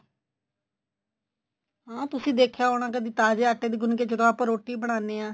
ਹਾਂ ਤੁਸੀਂ ਦੇਖਿਆ ਹੋਣਾ ਕਦੀ ਤਾਜ਼ੇ ਆਟੇ ਦੀ ਗੁੰਨ ਕੇ ਜਦੋਂ ਆਪਾਂ ਰੋਟੀ ਬਣਾਨੇ ਆ